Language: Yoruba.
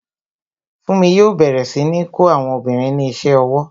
Funmi yo bẹ̀rẹ̀ sí ní kó àwọn obìnrin ní ise owó